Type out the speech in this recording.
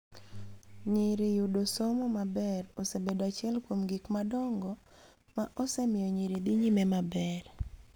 Nyiri yudo somo maber osebedo achiel kuom gik madongo ma osemiyo nyiri dhi nyime.